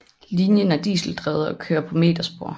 Linjen er diseldrevet og kører på meterspor